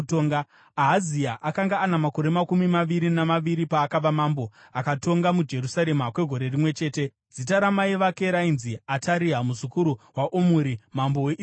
Ahazia akanga ana makore makumi maviri namaviri paakava mambo, akatonga muJerusarema kwegore rimwe chete. Zita ramai vake rainzi Ataria, muzukuru waOmuri, mambo weIsraeri.